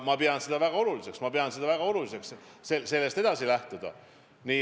Ma pean seda väga oluliseks ja ma pean väga oluliseks sellest edasi lähtuda.